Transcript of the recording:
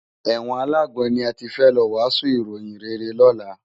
Èwòn àlágbòn ni àtí fè lò wàsún iróyin réré lòlá